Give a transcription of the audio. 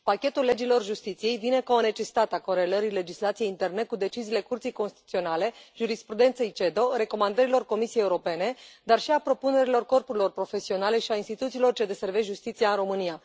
Pachetul legilor justiției vine ca o necesitate a corelării legislației interne cu deciziile Curții Constituționale, jurisprudenței CEDO, recomandărilor Comisiei Europene, dar și a propunerilor corpurilor profesionale și a instituțiilor ce deservesc justiția în România.